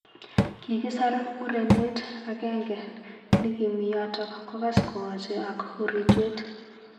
Kikisar murenet ak genge nikimi yotok kokas kowache ak uritwet.